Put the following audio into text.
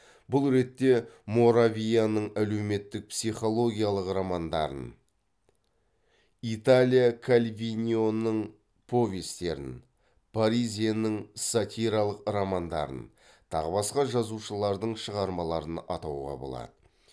бұл ретте моравияның әлеуметтік психологиялық романдарын италия кальвиноның повестерін паризенің сатиралық романдарын тағы басқа жазушылардың шығармаларын атауға болады